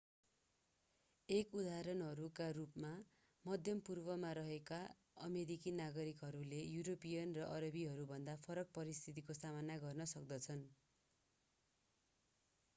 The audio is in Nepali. एक उदाहरणका रूपमा मध्य पूर्वमा रहेका अमेरिकी नागरिकहरूले युरोपियन वा अरबीहरूभन्दा फरक परिस्थितिको सामना गर्न सक्दछन्